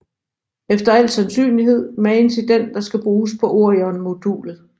Efter al sandsynlighed magen til den der skal bruges på Orionmodulet